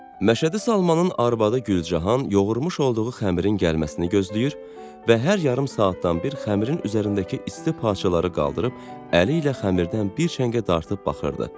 Məşədi Salmanın arvadı Gülcahan yoğurmuş olduğu xəmirin gəlməsinə gözləyir və hər yarım saatdan bir xəmirin üzərindəki isti parçaları qaldırıb əli ilə xəmirdən bir çəngə dartıb baxırdı.